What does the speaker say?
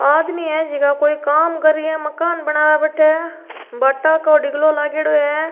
आदमी है जेका कोई काम कर रा है मकान बनाने बठ भाटा को डिग्लो लागेडो है।